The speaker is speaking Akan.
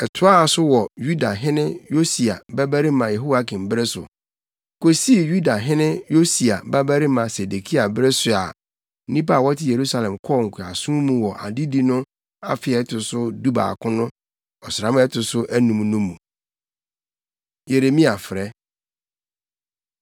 Ɛtoaa so wɔ Yuda hene Yosia babarima Yehoiakim bere so, kosii Yuda hene Yosia babarima Sedekia bere so a nnipa a wɔte Yerusalem kɔɔ nkoasom mu wɔ adedi no afe a ɛto so dubaako no ɔsram a ɛto so anum no mu. Yeremia Frɛ